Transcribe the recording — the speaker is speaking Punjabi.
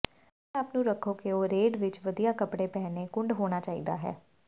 ਆਪਣੇ ਆਪ ਨੂੰ ਰੱਖੋ ਕਿ ਉਹ ਰੇਡ ਵਿੱਚ ਵਧੀਆ ਕੱਪੜੇ ਪਹਿਨੇ ਕੁੰਡ ਹੋਣਾ ਚਾਹੀਦਾ ਹੈ